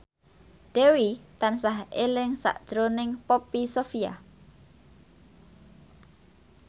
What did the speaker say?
Dewi tansah eling sakjroning Poppy Sovia